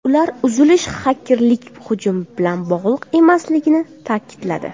Ular uzilish xakerlik hujumi bilan bog‘liq emasligini ta’kidladi.